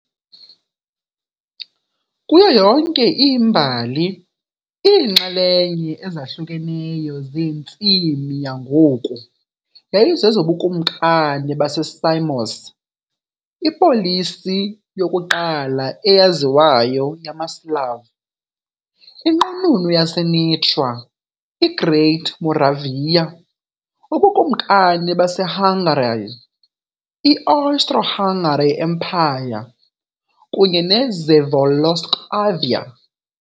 Kuyo yonke imbali, iinxalenye ezahlukeneyo zentsimi yangoku yayizezoBukumkani baseSamos ipolisi yokuqala eyaziwayo yamaSlav, iNqununu yaseNitra, i-Great Moravia, uBukumkani baseHungary, i- Austro-Hungary Empire kunye neCzechoslovakia.